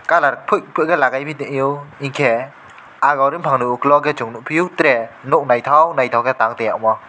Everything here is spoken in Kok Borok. colour quick ke lagai bi tong fio unkke agor unke ukulog a nugfio tre nythok nythok tang tonga omo.